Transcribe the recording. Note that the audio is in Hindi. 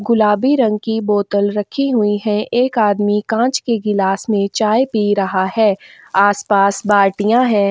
गुलाबी रंग की बोतल रखी हुई है एक आदमी कांच के ग्लास में चाय पी रहा है आसपास बालटिया है।